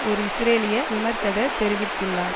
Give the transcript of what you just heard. ஒரு இஸ்ரேலிய விமர்சகர் தெரிவித்துள்ளார்